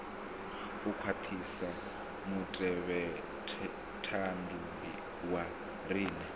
u khwaṱhisa mutevhethandu wa riṋe